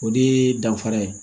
O de ye danfara ye